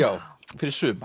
fyrir suma